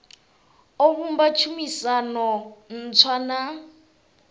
o vhumba tshumisano ntswa na